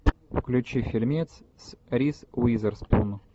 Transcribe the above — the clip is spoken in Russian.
включи фильмец с риз уизерспун